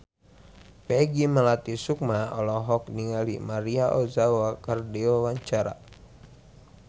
Peggy Melati Sukma olohok ningali Maria Ozawa keur diwawancara